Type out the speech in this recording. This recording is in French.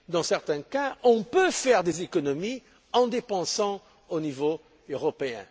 Dans certains cas, on peut faire des économies en dépensant au niveau européen.